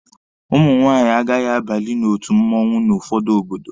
Ụmụ nwaanyị agaghị abalị n'otu mmụọnwụ n'ụfọdụ obodo.